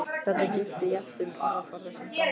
Þetta gilti jafnt um orðaforða sem framburð.